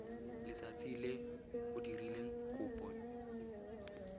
letsatsi le o dirileng kopo